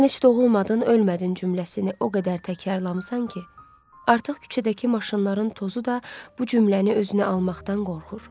Sən heç doğulmadın, ölmədin cümləsini o qədər təkrarlamısan ki, artıq küçədəki maşınların tozu da bu cümləni özünə almaqdan qorxur.